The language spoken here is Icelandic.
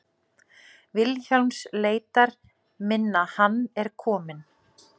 Vilhjálms leitar minnar Hann er kominn.